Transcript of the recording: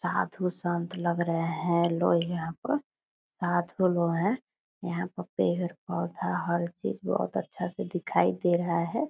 साधू-संत लग रहें हैं लोग यहाँ पर। साधू लोग हैं। यहाँ पर पेड़-पौधा हर चीज बहुत अच्छा से दिखाई दे रहा है।